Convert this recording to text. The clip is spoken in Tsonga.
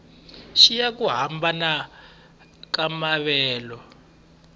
xiya ku hambana ka maavelo